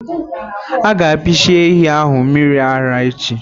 Aga apishi ehi ahụ mmiri ara echi.